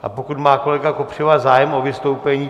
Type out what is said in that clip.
A pokud má kolega Kopřiva zájem o vystoupení?